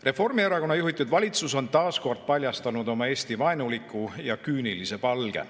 Reformierakonna juhitud valitsus on taas kord paljastanud oma Eesti-vaenuliku ja küünilise palge.